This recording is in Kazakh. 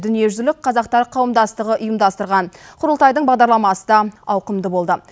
дүниежүзілік қазақтар қауымдастығы ұйымдастырған құрылтайдың бағдарламасы да ауқымды болды